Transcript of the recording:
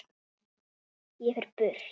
Ég fer burt.